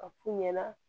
A f'u ɲɛna